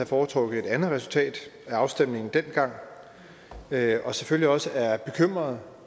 foretrukket et andet resultat af afstemningen dengang og selvfølgelig også er bekymret